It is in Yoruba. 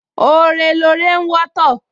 Ore lore ń wọ́tọ̀